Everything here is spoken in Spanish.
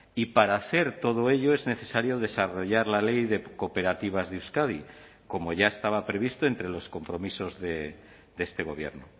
y para hacer todo ello es necesario desarrollar la ley de cooperativas de euskadi como ya estaba previsto entre los compromisos de este gobierno